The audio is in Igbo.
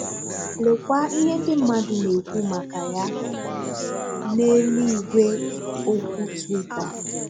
Lekwa ihe ndị mmadụ na-ekwu maka ya n’elu igwe okwu Twitter.